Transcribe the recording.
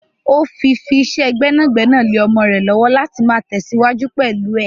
Ó fi fi ìṣe gbẹ́nàgbẹ́nà lè ọmọ rẹ lọ́wọ́ láti máa tesiwaju pẹ̀lú ẹ.